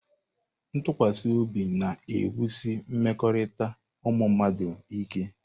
Ntụkwasị obi na-ewusi mmekọrịta ụmụ mmadụ ike.